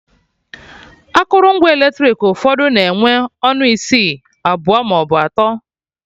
Akụrụngwa eletrik ụfọdụ na-enwe ọnụ isi abụọ maọbụ atọ